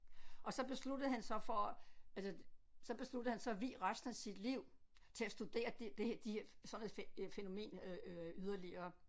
Og så besluttede han sig for altså så besluttede han så at vige resten af sit liv til at studere det de sådan et fænomen øh yderligere